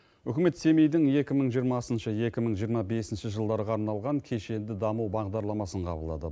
үкімет семейдің екі мың жиырмасыншы екі мың жиырма бесінші жылдарға арналған кешенді даму бағдарламасын қабылдады